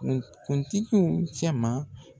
Kuntigiw cɛ ma